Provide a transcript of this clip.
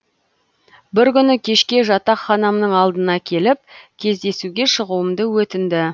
бір күні кешке жатақханамның алдына келіп кездесуге шығуымды өтінді